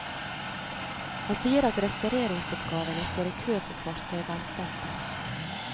Han sier at restaureringsoppgavene står i kø for fartøyvernsenteret.